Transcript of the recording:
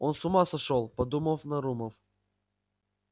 он с ума сошёл подумав нарумов